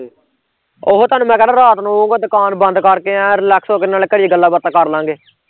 ਉਹੋ ਤੁਹਾਨੂੰ ਮੈਂ ਕਹਿੰਦਾ ਰਾਤ ਨੂੰ ਅਉਗਾ ਦੁਕਾਨ ਬੰਦ ਕਰਕੇ ਐ ਨੂੰ relax ਹੋ ਕੇ ਨਾਲੇ ਘੜੀ ਗੱਲਾਂ ਬਾਤਾਂ ਕਰਲਾਂਗੇ